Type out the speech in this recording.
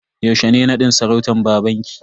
Yaushe ne nadin sarautan babanki?